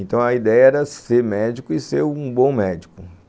Então a ideia era ser médico e ser um bom médico.